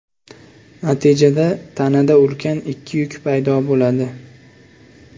Natijada tanada ulkan ikki yuk paydo bo‘ladi.